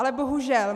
Ale bohužel.